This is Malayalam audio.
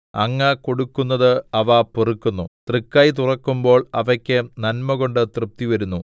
അങ്ങ് കൊടുക്കുന്നത് അവ പെറുക്കുന്നു തൃക്കൈ തുറക്കുമ്പോൾ അവയ്ക്ക് നന്മകൊണ്ട് തൃപ്തിവരുന്നു